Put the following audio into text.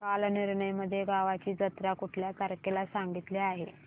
कालनिर्णय मध्ये गावाची जत्रा कुठल्या तारखेला सांगितली आहे